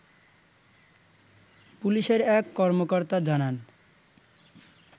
পুলিশের এক কর্মকর্তা জানান